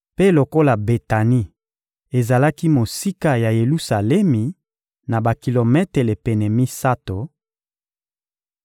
Mpe lokola Betani ezalaki mosika ya Yelusalemi na bakilometele pene misato,